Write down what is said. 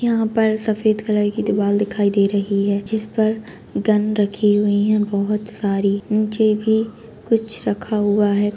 यहाँ पर सफेद कलर की दीवाल दिखाई दे रही है जिस पर गन रखी हुई हैं बहोत सारी निचे भी कुछ रखा हुआ है।